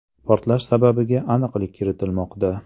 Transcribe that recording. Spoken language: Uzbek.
Portlash sababiga aniqlik kiritilmoqda.